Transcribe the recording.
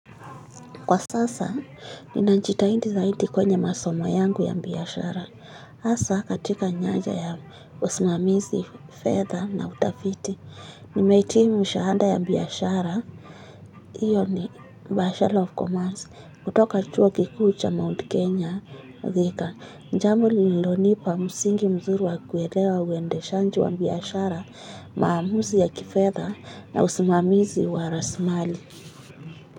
Kwa sasa, ninajitahidi zaidi kwenye masomo yangu ya biashara. Asa, katika nyanja ya usimamizi, fedha na utafiti, nimehitimu shahada ya biashara, hiyo ni biashara of commands, kutoka chuo kikuu cha maunt kenya, ni jambo lilonipa msingi mzuri wa kuelewa uende shaji wa biashara, maamuzi ya kifedha na usimamizi wa rasilimali.